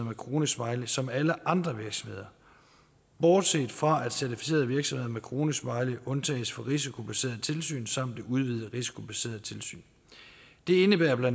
med kronesmiley som alle andre virksomheder bortset fra at certificerede virksomheder med kronesmiley undtages fra risikobaserede tilsyn samt udvidede risikobaserede tilsyn det indebærer bla